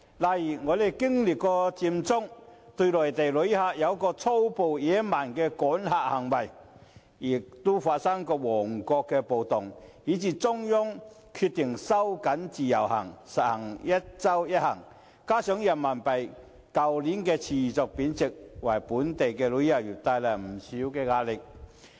例如，我們經歷過佔中、對內地旅客有過粗暴野蠻的趕客行為，也發生過旺角暴動，以至中央決定收緊自由行，實行"一周一行"，加上人民幣去年持續貶值，均為本地旅遊業帶來不少壓力。